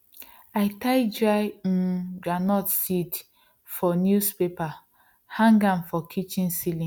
i tie dry um groundnut seeds for newspaper hang am for kitchen celling